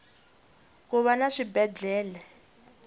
kuva na swibedele